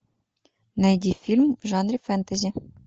найди фильм в жанре фэнтези